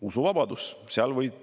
Usuvabadus!